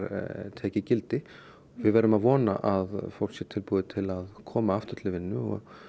tekið gildi við verðum að vona að fólk sé tilbúið til að koma aftur til vinnu